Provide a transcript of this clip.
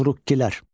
Turukkilər.